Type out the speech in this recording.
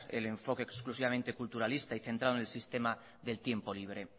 el enfoque exclusivamente culturalista y centrado en el sistema del tiempo libre